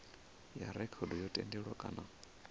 ya rekhodo yo tendiwa kana